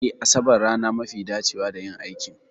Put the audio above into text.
Eh Asabar rana mafi dacewa da yin aikin